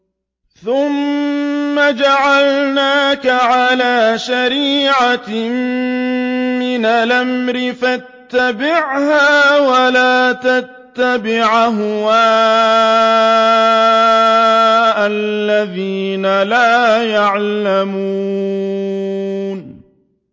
ثُمَّ جَعَلْنَاكَ عَلَىٰ شَرِيعَةٍ مِّنَ الْأَمْرِ فَاتَّبِعْهَا وَلَا تَتَّبِعْ أَهْوَاءَ الَّذِينَ لَا يَعْلَمُونَ